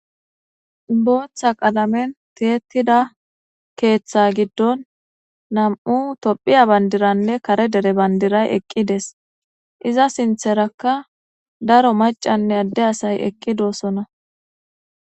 booththa qalamen teetida keeththa giddon nam7u tophiya bandiranne kare dere bandiray eqqides iza sintherakka daro macanne adde asay eqqi doossona